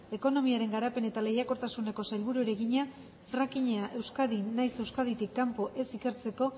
ekonomiaren garapen eta lehiakortasuneko sailburuari egina frackinga euskadin nahiz euskaditik kanpo ez ikertzeko